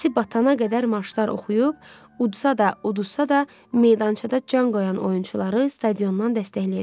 Səsi batana qədər marşlar oxuyub, udsa da, udsa da meydançada can qoyan oyunçuları stadiondan dəstəkləyəcəkdi.